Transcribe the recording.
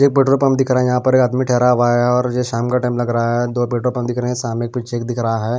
एक petrol pump दिख रहा है यहां पर एक आदमी ठहरा हुआ है और ये शाम का टाइम लग रहा है दो पेट्रोल पंप दिख रहे हैं साम एक फिर चेक दिख रहा है।